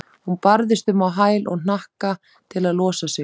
Hún barðist um á hæl og hnakka til að losa sig.